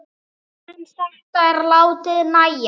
En þetta er látið nægja.